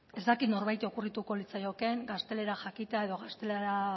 ez dakit norbaiti okurrituko litzaiokeen gaztelera jakitea edo gaztelera